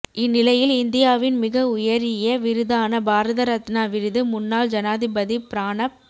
இந்நிலையில் இந்தியாவின் மிக உயரிய விருதான பாரத ரத்னா விருது முன்னாள் ஜனாதிபதி பிரணாப்